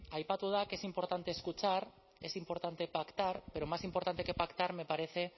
aipatu da que es importante escuchar es importante pactar pero más importante que pactar me parece